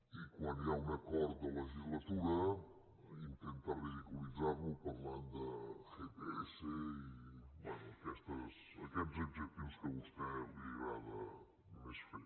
i quan hi ha un acord de legislatura intenta ridiculitzar·lo parlant de gps i bé aquests adjectius que a vostè li agrada més fer